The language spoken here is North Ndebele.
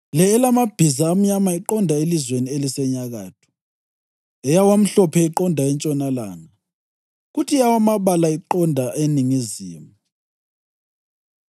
Le elamabhiza amnyama iqonda elizweni elisenyakatho, eyawamhlophe iqonda entshonalanga, kuthi eyawamabala iqonda eningizimu.”